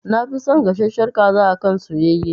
Na fi son gasashshen kaza akan soyayye